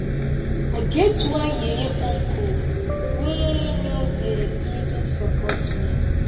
i get one yeye uncle wey no dey eva support me